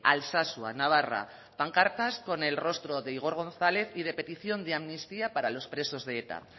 alsasua navarra pancartas con el rostro de igor gonzález y de petición de amnistía para los presos de eta